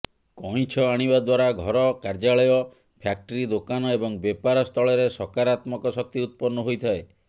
କଇଁଞ୍ଚ ଆଣିବା ଦ୍ବାରା ଘର କାର୍ଯ୍ୟାଳୟ ଫ୍ୟାକ୍ଟ୍ରି ଦୋକାନ ଏବଂ ବେପାର ସ୍ଥଳରେ ସକାରାତ୍ମକ ଶକ୍ତି ଉତ୍ପନ୍ନ ହୋଇଥାଏ